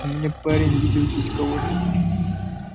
у меня парень видел здесь кого-то